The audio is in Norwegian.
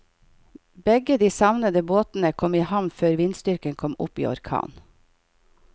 Begge de savnede båtene kom i havn før vindstyrken kom opp i orkan.